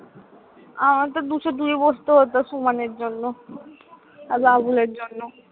আমার তো দুশো দুই এ বসতে হতো সুমনের জন্য আর বাবুলের জন্য।